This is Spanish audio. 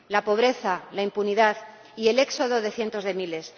la pobreza, la impunidad y el éxodo de cientos de miles.